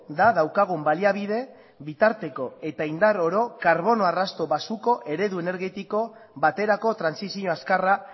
da daukagun baliabide bitarteko eta indar oro karbono arrasto baxuko eredu energetiko baterako trantsizio azkarra